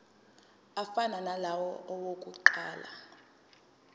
afana nalawo awokuqala